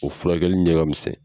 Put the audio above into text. O furakɛli ɲɛkamisɛn.